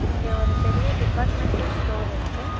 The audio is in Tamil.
இங்க ஒரு பெரிய டிபார்ட்மென்டல் ஸ்டோர் இருக்கு.